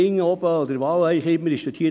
Vielerorts stimmt es nicht;